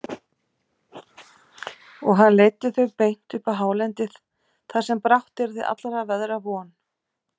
Og hann leiddi þau beint upp á hálendið þar sem brátt yrði allra veðra von.